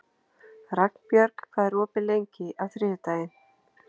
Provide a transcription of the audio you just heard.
Ragnbjörg, hvað er opið lengi á þriðjudaginn?